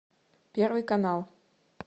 первый канал